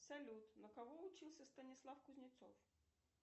салют на кого учился станислав кузнецов